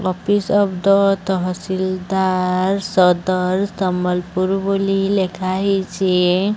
Office of the tahsildar Sadar Sambalpur ବୋଲି ଲେଖା ହେଇଚି ।